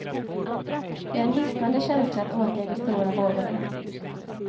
Det är en hisnande känsla att åka i de stora vågorna.